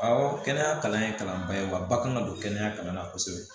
Awɔ kɛnɛya kalan in kalanba ye wa ba kan ka don kɛnɛya kalan na kosɛbɛ